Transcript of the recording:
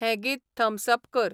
हें गीत thumbs up कर